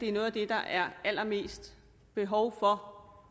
er noget af det der er allermest behov for